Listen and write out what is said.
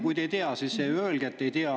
Kui te ei tea, siis öelge, et te ei tea.